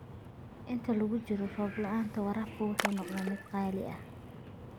Inta lagu jiro roob la'aanta, waraabku wuxuu noqdaa mid qaali ah.